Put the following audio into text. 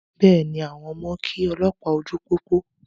Bẹ́ẹ̀ni, àwọn ọmọ kí olópàá ojú pópó.